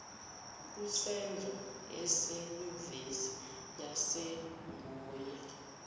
kusenzo esenyuvesi yasongoye